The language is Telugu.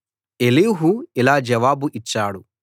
ఎలీహు ఇలా జవాబు ఇచ్చాడు